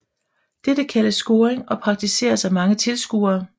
Dette kaldes scoring og praktiseres af mange tilskuere